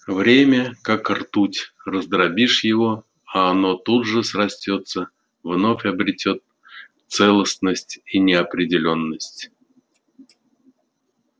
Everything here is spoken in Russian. время как ртуть раздробишь его а оно тут же срастётся вновь обретёт целостность и неопределённость